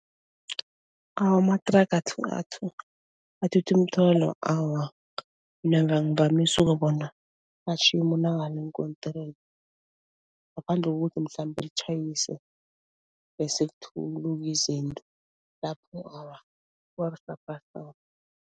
Awa amathraga athutha imithwalo awa, mina angivamisi ukuwabona umuntu eenkontirini ngaphandle kokuthi mhlambe atjhayise bese kuthuluka izinto, lapho awa, kuba busaphasapha.